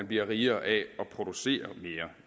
bliver rigere af at producere mere